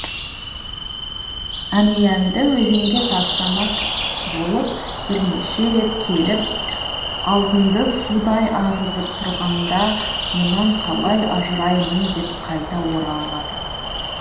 әмиянды өзенге тастамак болып бірнеше рет келіп алтынды судай ағызып тұрғанда мұнан қалай ажыраймын деп қайта оралады